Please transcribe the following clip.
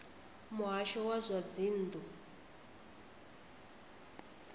muhasho wa zwa dzinn ḓu